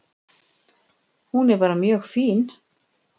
Hún er bara mjög fín.